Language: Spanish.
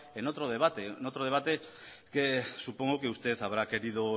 en otro debate que supongo que usted habrá querido